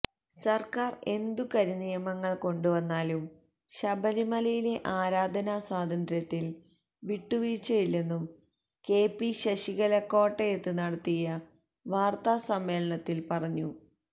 സര്ക്കാര് എന്തു കരിനിയമങ്ങള് കൊണ്ടുവന്നാലും ശബരിമലയിലെ ആരാധനാ സ്വാതന്ത്ര്യത്തില് വിട്ടുവീഴ്ചയില്ലെന്നും കെപി ശശികല കോട്ടയത്ത് നടത്തിയ വാര്ത്താ സമ്മേളനത്തില് പറഞ്ഞു